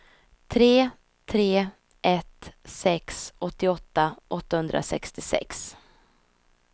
tre tre ett sex åttioåtta åttahundrasextiosex